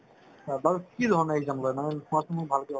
বাৰু কি ধৰণৰ exam লই মানে কোৱাচোন ভালকে অলপ